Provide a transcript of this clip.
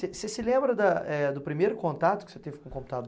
Você se lembra da eh, do primeiro contato que você teve com o computador?